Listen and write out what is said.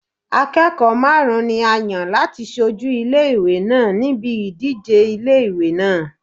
Akẹ́kọ̀ọ́ márùn-ún ni a yàn láti ṣojú ilé ìwé náà níbi ìdíje ilé ìwé náà.